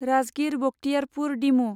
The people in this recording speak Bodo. राजगिर बक्तियारपुर डिमु